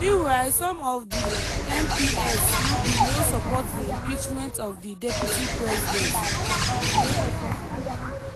meanwhile some of di mps bin no support di impeachment of di deputy president.